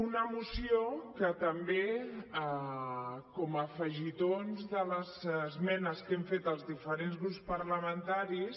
una moció que també com a afegitons de les esmenes que hem fet els diferents grups parlamentaris